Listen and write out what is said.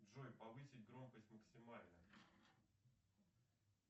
джой повысить громкость максимально